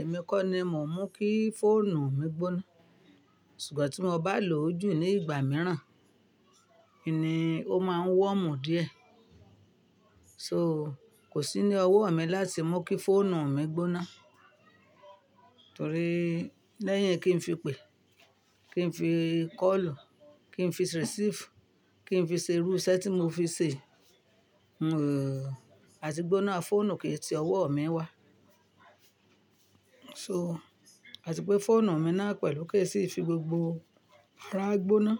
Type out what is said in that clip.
Èmi kọ́ ni mò ń mú kí fóònù mi gbóná. Sugbon tí mo bá lò ó jù ní ìgbà mìíràn, kí ni, ó máa ń wọ́mù díẹ̀. So kò sí ní ọwọ́ mi láti mú kí fóònù mi gbóná. Torí lẹ́yìn kí n fi pè, kí n fi kọ́lù, kí n fi receive, kí n fi ṣe irú ìṣe tí mò fi ṣe, àti gbóná fóònù kì í ti ọwọ́ mi wá. So àti pé fóònù mi náà pẹ̀lú kì í sì fi gbogbo ara gbóná,